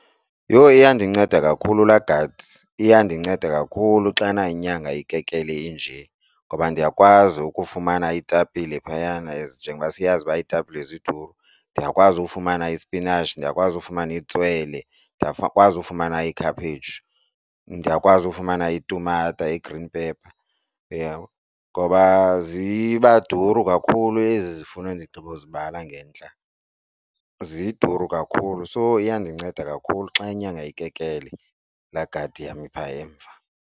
Yho! Iyandinceda kakhulu laa gadi iyandinceda kakhulu xana inyanga ikekele inje, ngoba ndiyakwazi ukufumana iitapile phayana as njengoba siyazi uba iitapile ziduru. Nndiyakwazi ufumana ispinatshi, ndiyakwazi ukufumana itswele, ndiyakwazi ufumana ikhaphetshu, ndiyakwazi ukufumana itumata, i-green pepper uyabo. Ngoba ziba duru kakhulu ezi zifuno ndigqibo kuzibala ngentla zidura kakhulu so iyandinceda kakhulu xa inyanga ikekele laa gadi yam iphaa emva.